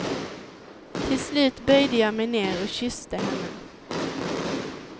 Till slut böjde jag mig ner och kysste henne.